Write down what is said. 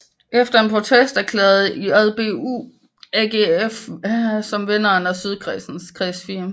Efter en protest erklærede JBU AGF som vinder af Sydkredsens Kreds 4